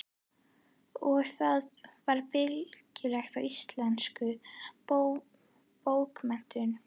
Og það varð bylting í íslenskum bókmenntum.